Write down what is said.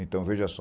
Então, veja só.